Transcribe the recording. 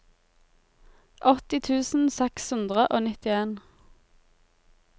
åtti tusen seks hundre og nittien